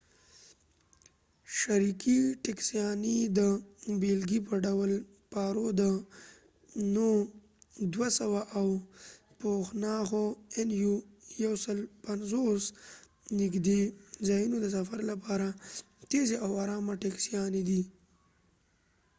شریکې ټکسیانې د بیلګې په ډول پارو nu 150 او پوناخو nu 200 د نږدې ځایونو د سفر لپاره تیزې او آرامه ټکسیانې دي